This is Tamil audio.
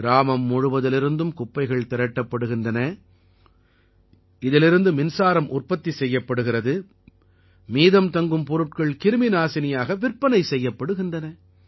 கிராமம் முழுவதிலிருந்தும் குப்பைகள் திரட்டப்படுகின்றன இதீலிருந்து மின்சாரம் உற்பத்தி செய்யப்படுகிறது மீதம் தங்கும் பொருட்கள் கிருமிநாசினியாக விற்பனை செய்யப்படுகின்றன